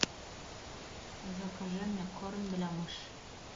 закажи мне корм для мыши